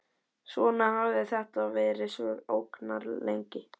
Svona hafði þetta verið svo ógnarlengi.